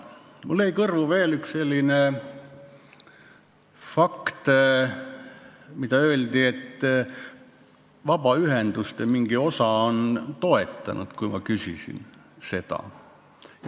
Mulle jäi kõrvu veel fakt, et vabaühendustest mingi osa on eelnõu toetanud.